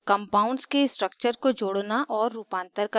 compounds के structure को जोड़ना और रूपांतर करना